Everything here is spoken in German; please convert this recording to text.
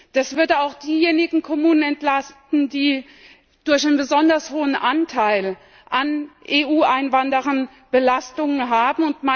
Das würde auch diejenigen Kommunen entlasten, die durch einen besonders hohen Anteil an EU Einwanderern Belastungen haben.